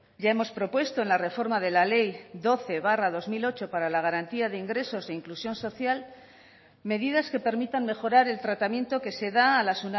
ya hemos propuesto en la reforma de la ley doce barra dos mil ocho para la garantía de ingresos e inclusión social medidas que permitan mejorar el tratamiento que se da a las